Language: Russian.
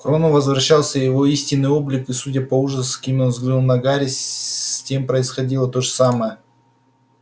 к рону возвращался его истинный облик и судя по ужасу с каким он взглянул на гарри с тем происходило то же самое